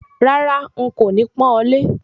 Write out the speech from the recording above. Rárá, n kò ní pọ́n ọ lé